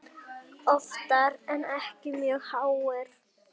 Oftar en ekki mjög háir.